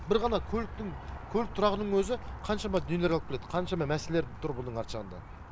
бір ғана көліктің көлік тұрағының өзі қаншама нелер алып келеді қаншама мәселер тұр мұның арты жағында